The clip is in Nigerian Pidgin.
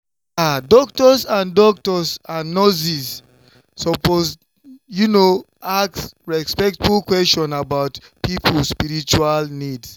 i mean some families fit wan pray or do their own kind ritual before dem do any treatment you sabi.